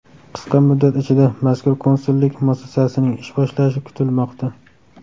Qisqa muddat ichida mazkur konsullik muassasasining ish boshlashi kutilmoqda.